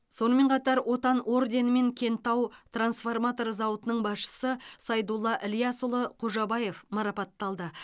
сонымен қатар отан орденімен кентау трансформатор зауытының басшысы сайдулла ілиясұлы қожабаев марапатталды